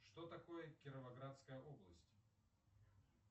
что такое кировоградская область